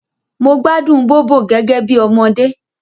Mo gbádùn Bóbò gẹ́gẹ́ bí ọmọdé